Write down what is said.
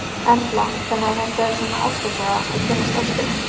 Erla: Þannig að þetta er svona ástarsaga, að kynnast ástinni?